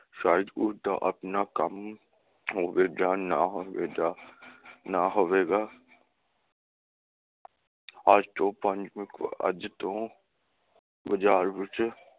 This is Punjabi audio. ਸ਼ਾਇਦ ਉਸਦਾ ਆਪਣਾ ਕੰਮ ਹੋਵੇ ਜਾ ਨਾ ਹੋਵੇ ਦਾ ਨਾ ਹੋਵੇਗਾ ਅੱਜ ਤੋਂ ਪੰਜ ਅੱਜ ਤੋਂ ਬਜ਼ਾਰ ਵਿਚ